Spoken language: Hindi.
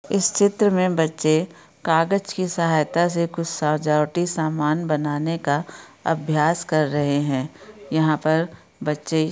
इस चित्र मैं बच्चे कागज की सहायता से कुछ साजावटी सामान बनाने का अभ्यास कर रहे है यहाँ पर बच्चे--